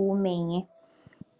uumenye,